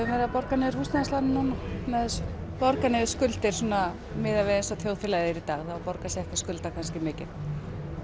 verið að borga niður húsnæðislánin núna með þessu borga niður skuldir svona miðað við eins og þjóðfélagið er í dag þá borgar sig ekki að skulda kannski mikið